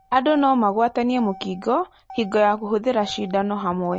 Andũ no magwatanie mũkingo hingo ya kũhuthĩra cindano hamwe.